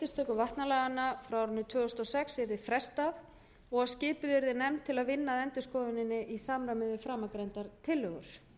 vatnalaganna frá árinu tvö þúsund og sex yrði frestað og að skipuð yrði nefnd til að vinna að endurskoðuninni í samræmi við framangreindar tillögur